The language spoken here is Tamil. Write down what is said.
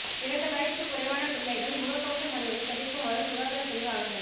இரண்டு வயதுக்கு குறைவான பிள்ளைகள் முகக் கவசம் அணிவதை தவிர்க்குமாறு சுகாதார பிரிவு ஆலோசனை